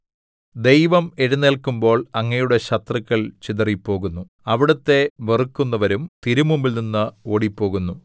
ദൈവം എഴുന്നേല്ക്കുമ്പോൾ അങ്ങയുടെ ശത്രുക്കൾ ചിതറിപ്പോകുന്നു അവിടുത്തെ വെറുക്കുന്നവരും തിരുമുമ്പിൽനിന്ന് ഓടിപ്പോകുന്നു